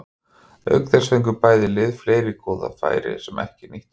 Auk þess fengu bæði lið fleiri góð færi sem ekki nýttust.